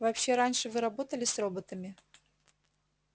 вообще раньше вы работали с роботами